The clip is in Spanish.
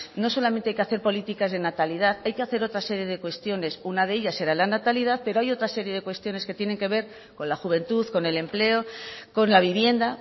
no solamente hay que hacer políticas de natalidad hay que hacer otra serie de cuestiones una de ellas será la natalidad pero hay otra serie de cuestiones que tienen que ver con la juventud con el empleo con la vivienda